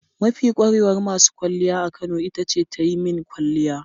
Mafi kwarewar masu kwalliya a Kano ita ce ta yi min kwalliya.